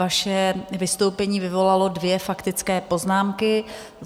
Vaše vystoupení vyvolalo dvě faktické poznámky.